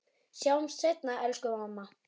Sjáumst seinna, elsku mamma.